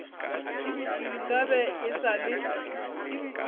nka be e sa le